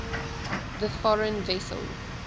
the foreign vessel